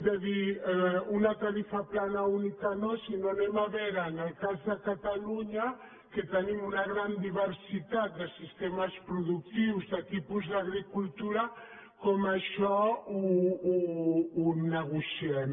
de dir una tarifa plana única no sinó que anem a veure en el cas de catalunya que tenim una gran diversitat de sistemes productius de tipus d’agricultura com això ho negociem